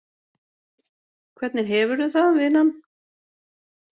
Hvernig hefurðu það, vinan?